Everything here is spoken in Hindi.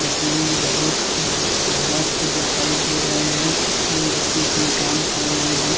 देखने में बहुत मस्त दिखाई दे रहे हैं तीन व्यक्ति इसमें कम कर रहे हैं।